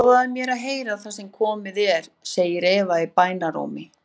Lofaðu mér að heyra það sem komið er, segir Eva í bænarrómi.